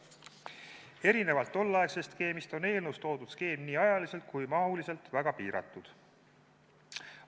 Erinevalt tolleaegsest skeemist on eelnõus toodud skeem nii ajaliselt kui ka mahuliselt väga piiratud.